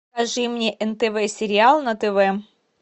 покажи мне нтв сериал на тв